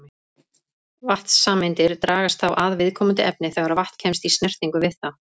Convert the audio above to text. Vatnssameindirnar dragast þá að viðkomandi efni þegar vatn kemst í snertingu við það.